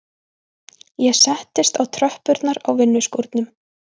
Ég settist á tröppurnar á vinnuskúrnum.